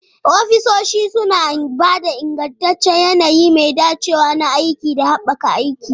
Ofisoshi suna ba da ingantaccen yanayi mai dacewa na aiki da haɓaka aiki.